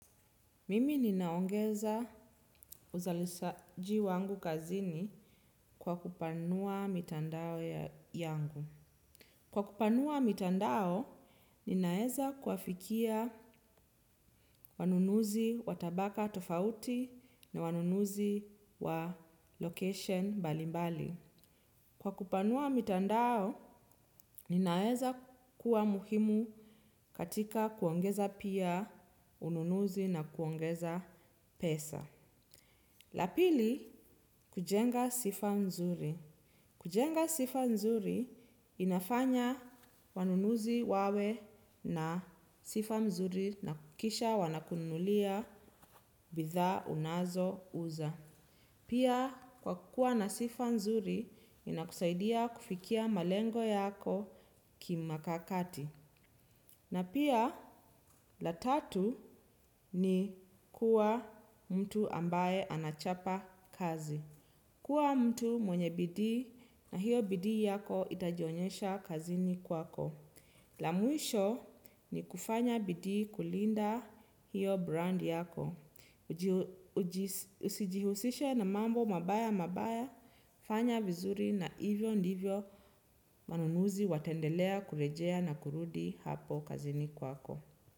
Mimi ninaongeza uzalishaji wangu kazini kwa kupanua mitandao yangu. Kwa kupanua mitandao, ninaweza kuwafikia wanunuzi wa tabaka tofauti na wanunuzi wa location mbalimbali. Kwa kupanua mitandao, ninaeza kuwa muhimu katika kuongeza pia ununuzi na kuongeza pesa. Lapili kujenga sifa nzuri. Kujenga sifa nzuri inafanya wanunuzi wawe na sifa mzuri na kuhakikisha wanakunulia bidhaa unazo uza. Pia kwakuwa na sifa nzuri inakusaidia kufikia malengo yako kimakakati. Na pia la tatu ni kuwa mtu ambaye anachapa kazi. Kuwa mtu mwenye bidii na hiyo bidii yako itajionyesha kazini kwako. La mwisho ni kufanya bidi kulinda hiyo brand yako. Usijihusishe na mambo mabaya mabaya, fanya vizuri na hivyo ndivyo wanunuzi wataendelea kurejea na kurudi hapo kazini kwako.